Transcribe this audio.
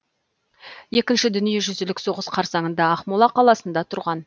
екінші дүниежүзілік соғыс қарсаңында ақмола қаласында тұрған